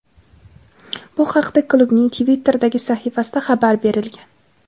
Bu haqda klubning Twitter’dagi sahifasida xabar berilgan.